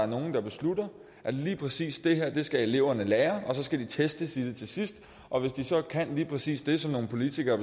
nogle beslutter at lige præcis det her skal eleverne lære og så skal de testes i det til sidst og hvis de så kan lige præcis det som nogle politikere